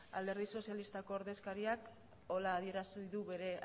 alderdi sozialistako ordezkariak horrela adierazi du bere